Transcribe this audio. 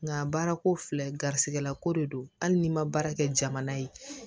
Nka baarako filɛ garisigɛlako de don hali ni ma baara kɛ jamana ye